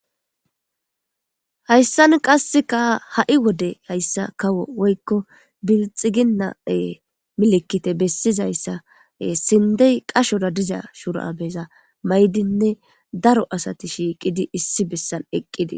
Hayssan qasseka hai wodde hayssa kawo woykko billxxigina e milikitte bessizayssa sinddey qachchora diiza shurabeza maayidine daaro asati shiqqidi issi bessan eqqidi.